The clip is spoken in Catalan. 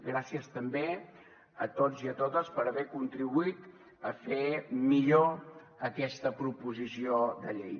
gràcies també a tots i a totes per haver contribuït a fer millor aquesta proposició de llei